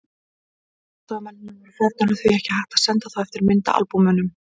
Allir aðstoðarmennirnir voru farnir og því ekki hægt að senda þá eftir myndaalbúmunum.